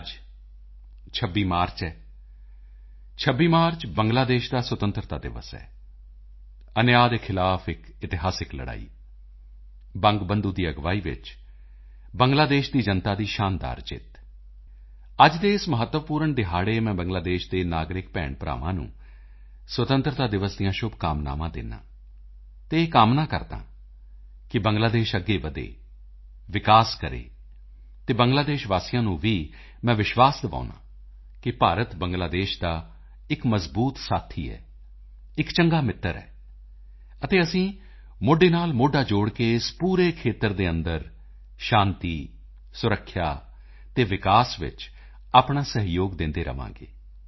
ਅੱਜ 26 ਮਾਰਚ ਹੈ 26 ਮਾਰਚ ਬੰਗਲਾਦੇਸ਼ ਦਾ ਸੁਤੰਤਰਤਾ ਦਿਵਸ ਹੈ ਅਨਿਆ ਦੇ ਖਿਲਾਫ ਇਕ ਇਤਿਹਾਸਕ ਲੜਾਈ ਬੰਗਬੰਧੂ ਦੀ ਅਗਵਾਈ ਵਿੱਚ ਬੰਗਲਾਦੇਸ਼ ਦੀ ਜਨਤਾ ਦੀ ਸ਼ਾਨਦਾਰ ਜਿੱਤ ਅੱਜ ਦੇ ਇਸ ਮਹੱਤਵਪੂਰਨ ਦਿਹਾੜੇ ਮੈਂ ਬੰਗਲਾਦੇਸ਼ ਦੇ ਨਾਗਰਿਕ ਭੈਣਭਰਾਵਾਂ ਨੂੰ ਸੁਤੰਤਰਤਾ ਦਿਵਸ ਦੀਆਂ ਸ਼ੁਭਕਾਮਨਾਵਾਂ ਦਿੰਦਾ ਹਾਂ ਅਤੇ ਇਹ ਕਾਮਨਾ ਕਰਦਾ ਹਾਂ ਕਿ ਬੰਗਲਾਦੇਸ਼ ਅੱਗੇ ਵਧੇ ਵਿਕਾਸ ਕਰੇ ਅਤੇ ਬੰਗਲਾਦੇਸ਼ ਵਾਸੀਆਂ ਨੂੰ ਵੀ ਮੈਂ ਵਿਸ਼ਵਾਸ ਦਿਵਾਉਂਦਾ ਹਾਂ ਕਿ ਭਾਰਤ ਬੰਗਲਾਦੇਸ਼ ਦਾ ਇਕ ਮਜ਼ਬੂਤ ਸਾਥੀ ਹੈ ਇਕ ਚੰਗਾ ਮਿੱਤਰ ਹੈ ਅਤੇ ਅਸੀਂ ਮੋਢੇ ਨਾਲ ਮੋਢਾ ਜੋੜ ਕੇ ਇਸ ਪੂਰੇ ਖੇਤਰ ਦੇ ਅੰਦਰ ਸ਼ਾਂਤੀ ਸੁਰੱਖਿਆ ਅਤੇ ਵਿਕਾਸ ਵਿੱਚ ਆਪਣਾ ਸਹਿਯੋਗ ਦਿੰਦੇ ਰਹਾਂਗੇ